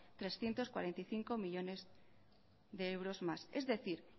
trescientos cuarenta y cinco millónes de euros más es decir